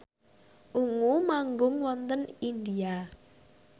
Ungu manggung wonten India